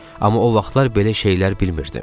Amma o vaxtlar belə şeylər bilmirdim.